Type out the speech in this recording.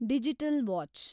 digital watch